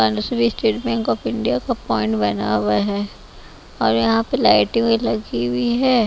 बांसुरी state bank of India का point बना हुआ है और यहाँ पे लाइट भी लगी हुई है।